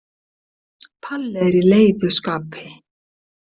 Palli er í leiðu skapi.